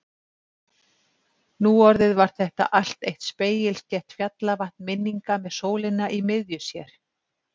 Nú orðið var þetta allt eitt spegilslétt fjallavatn minninga með sólina í miðju sér.